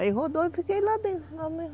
Aí rodou e fiquei lá dentro.